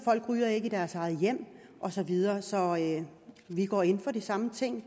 folk ryger i deres eget hjem og så videre så vi går ind for de samme ting